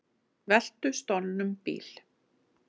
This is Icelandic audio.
Veltu stolnum bíl